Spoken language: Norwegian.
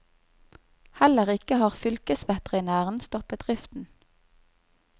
Heller ikke har fylkesveterinæren stoppet driften.